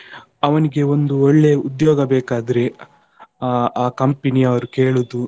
ಅವನಿಗೆ ಒಂದು ಒಳ್ಳೆ ಉದ್ಯೋಗ ಬೇಕಾದ್ರೆ ಆ ಆ company ಅವ್ರು ಕೇಳುದು,